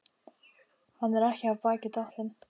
Hann er ekki af baki dottinn.